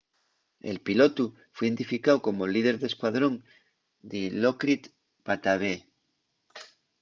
el pilotu fue identificáu como’l líder d'escuadrón dilokrit pattavee